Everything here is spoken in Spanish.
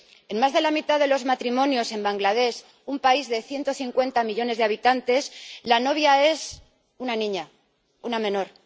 En más de la mitad de los matrimonios en Bangladés, un país de 150 millones de habitantes, la novia es una niña, una menor.